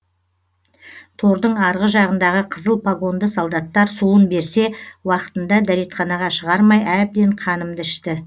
тордың арғы жағындағы қызыл погонды солдаттар суын берсе уақытында дәретханаға шығармай әбден қанымды ішті